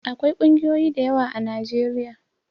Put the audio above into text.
Akwai ƙungiyoyi dayawa a najeriya